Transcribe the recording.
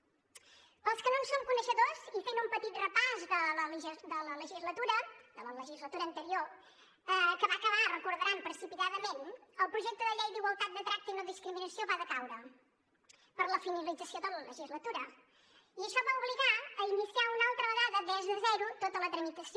per als que no en són coneixedors i fent un petit repàs de la legislatura anterior que va acabar ho deuen recordar precipitadament el projecte de llei per a la igualtat de tracte i la no discriminació va decaure per la finalització de la legislatura i això va obligar a iniciar una altra vegada des de zero tota la tramitació